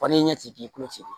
n'i ye ɲɛ ci ci k'i ku ci